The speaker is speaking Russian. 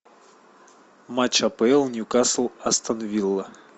матч апл ньюкасл астон вилла